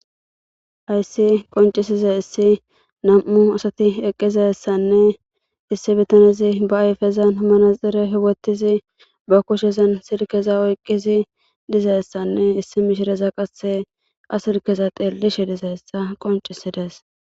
ayssi qoncisiza issi nam7u asati eqqizassanne issi bitanezi ba ayfezan hamnaxire hiwottizi ba kushezan silkeza oyqqizi dizassanne issi mishireza qasse a silkeza teellishe dizayssa qoncisidees